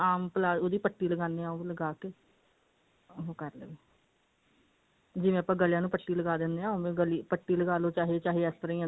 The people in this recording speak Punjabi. ਆਮ palazzo ਉਹਦੀ ਪੱਟੀ ਲਗਾਨੇ ਹਾਂ ਉਹ ਲਗਾਕੇ ਉਹ ਕਰ ਲਵੇ ਜਿਵੇਂ ਆਪਾਂ ਗਲੇਆਂ ਨੂੰ ਪੱਟੀ ਲਗਾ ਦਿੰਦੇ ਹਾਂ ਉਵੇਂ ਪੱਟੀ ਲਗਾਲੋ ਚਾਹੇ ਇਸ ਤਰ੍ਹਾਂ ਅੰਦਰ ਨੂੰ